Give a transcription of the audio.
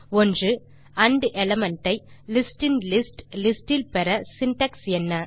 1ஆண்ட் element ஐ லிஸ்டின்லிஸ்ட் list இல் பெற சின்டாக்ஸ் என்ன